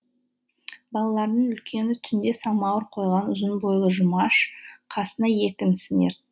балалардың үлкені түнде самауыр қойған ұзын бойлы жұмаш қасына екі інісін